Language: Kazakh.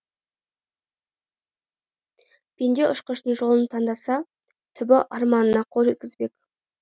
пенде ұшқыштың жолын таңдаса түбі арманына қол жеткізбек